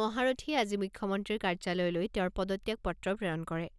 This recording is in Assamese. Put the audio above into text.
মহাৰথীয়ে আজি মুখ্যমন্ত্ৰীৰ কাৰ্যালয়লৈ তেওঁৰ পদত্যাগ পত্ৰ প্ৰেৰণ কৰে।